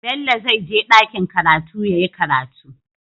Bello zai je dakiin karatu yayi karatu